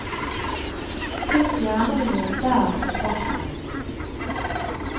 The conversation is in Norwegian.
Pynt gjerne med noen bær på toppen.